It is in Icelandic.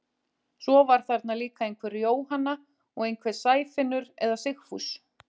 Svo var þarna líka einhver Jóhanna og einhver Sæfinnur eða Sigfús.